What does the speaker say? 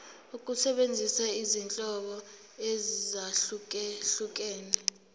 ukusebenzisa izinhlobo ezahlukehlukene